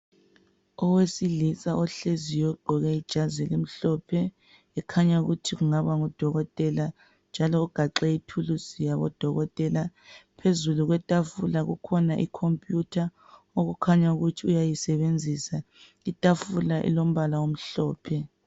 Owesilisa ohleziyo ugqoke ijazi elimhlophe ekhanya ukuthi kungaba nguDokotela njalo ugaxe ithulusi yabo Dokotela , phezu kwetafula kokhona iComputer okukhanya ukuthi uyayisebenzisa. Itafula elombala omhlophe.